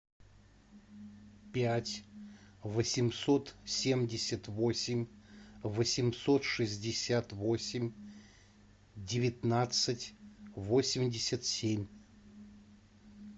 пять восемьсот семьдесят восемь восемьсот шестьдесят восемь девятнадцать восемьдесят семь